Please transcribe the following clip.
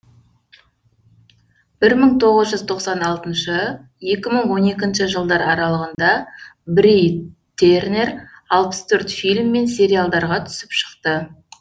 бір мың тоғыз тоқсан алтыншы екі мың он екінші жылдар аралығында бри тернер алпыс төрт фильм мен сериалдарға түсіп шықты